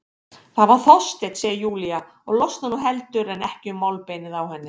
Það var Þorsteinn, segir Júlía og losnar nú heldur en ekki um málbeinið á henni.